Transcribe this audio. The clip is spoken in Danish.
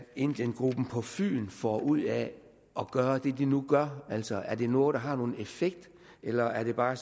indiengruppen på fyn får ud af at gøre det de nu gør altså er det noget der har nogen effekt eller er det bare